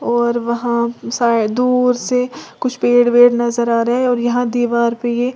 और वहां सा दूर से कुछ पेड़ वेड़ नजर आ रहे हैं और यहां दीवार पे ये--